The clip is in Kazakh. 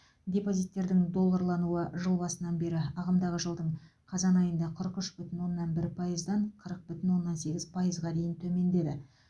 депозиттердің долларлануы жыл басынан бері ағымдағы жылдың қазан айында қырық үш бүтін оннан үш пайыздан қырық бүтін оннан сегіз пайызға дейін төмендеді